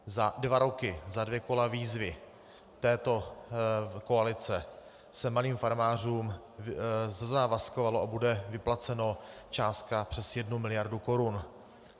Za dva roky, za dvě kola výzvy této koalice, se malým farmářům zazávazkovalo a bude vyplacena částka přes 1 miliardu korun.